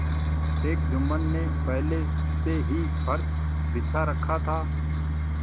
शेख जुम्मन ने पहले से ही फर्श बिछा रखा था